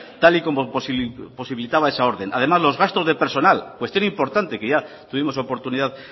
tal y como posibilitaba esa orden además los gastos de personal cuestión importante que ya tuvimos oportunidad